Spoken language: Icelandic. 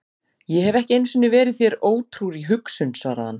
Ég hef ekki einu sinni verið þér ótrúr í hugsun, svaraði hann.